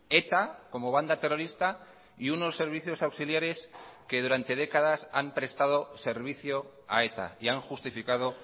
eta como banda terrorista y unos servicios auxiliares que durante décadas han prestado servicio a eta y han justificado